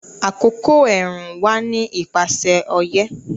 Àkókò ẹ̀rùn wà ní ipasẹ̀ ọyẹ́